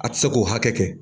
A tɛ se k'o hakɛ kɛ